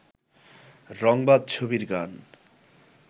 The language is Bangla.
রংবাজ ছবির গান